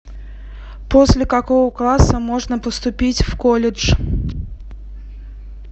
после какого класса можно поступить в колледж